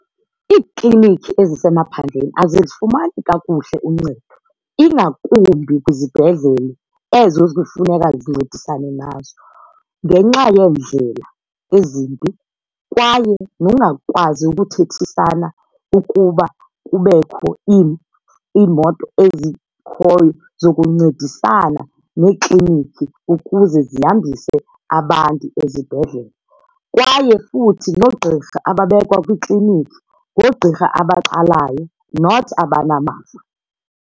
Iiklinikhi ezisemaphandleni azizifumani kakuhle uncedo ingakumbi kwizibhedlele ezo kufuneka zincedisane nazo ngenxa yeendlela ezimbi kwaye nokungakwazi ukuthethisana ukuba kubekho iimoto ezikhoyo zokuncedisana neekliniki ukuze zihambise abantu ezibhedlele. Kwaye futhi noogqirha ababekwa kwiikliniki ngoogqirha abaqalayo not abanamava.